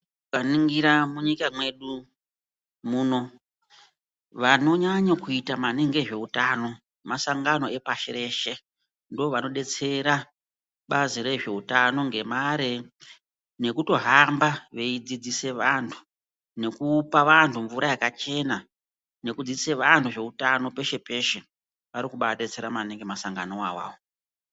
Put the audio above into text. Taningira munyika mwedu muno ,vanonyanyo kuita maningi ngezveutano masangano epashi reshe ndovanodetsera bazi rezveutano ngemare nekutohamba veidzidzisa vantu nekupa vantu mvura yakachena nekudzidzisa vantu zveutano peshe peshe. Arikubadetsera maningi masanganowo awawo.